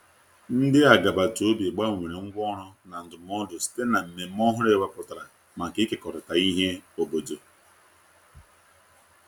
ndi agabata obi gbanwere ngwa ọrụ na ndumụdo site na mmeme ọhụrụ e weputara maka ikekọrita ihe obodo